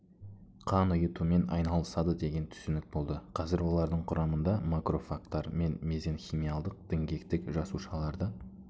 қан ұйытумен айналысады деген түсінік болды қазір олардың құрамында макрофагтар мен мезенхималдық діңгектік жасушаларды